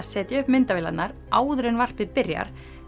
setja upp myndavélarnar áður en varpið byrjar